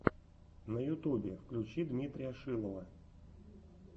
на ютубе включи дмитрия шилова